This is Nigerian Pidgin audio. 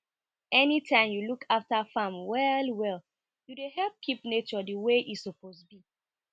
anytime you look after farm well well you dey help keep nature the way e suppose be